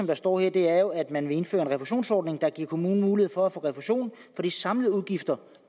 der står her er jo at man vil indføre en refusionsordning der giver kommunen mulighed for at få refusion for de samlede udgifter